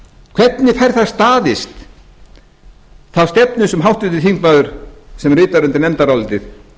hvernig fær það staðist þá stefnu sem háttvirtur þingmaður sem ritar undir nefndarálitið